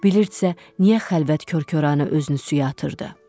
Bilirdisə, niyə xəlvət korkorana özünü suya atırdı?